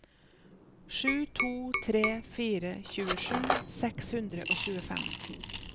sju to tre fire tjuesju seks hundre og tjuefem